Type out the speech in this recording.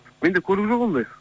менде көлік жоқ ондай